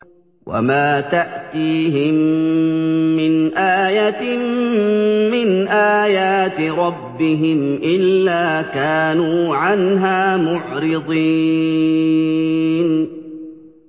وَمَا تَأْتِيهِم مِّنْ آيَةٍ مِّنْ آيَاتِ رَبِّهِمْ إِلَّا كَانُوا عَنْهَا مُعْرِضِينَ